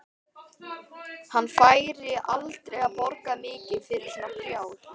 Hann færi aldrei að borga mikið fyrir svona prjál.